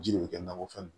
Ji de bɛ kɛ nakɔfɛn